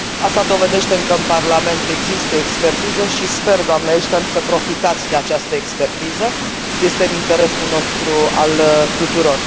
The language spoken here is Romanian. Asta dovedește că în Parlament există expertiză și sper, doamnă Ashton, să profitați de această expertiză, este în interesul nostru, al tuturor.